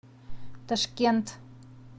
ташкент